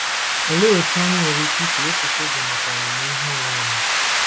Olee otú anyị nwere ike isi wepụta oge maka ọmụmụ ihe onwe onye?